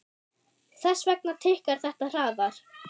Þess vegna tikkar þetta hraðar.